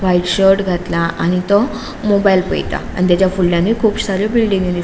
white shirt घातला आणि तो मोबाईल पयता आणि फुडल्यानुय कुब सारी बिल्डिग्यो दिस --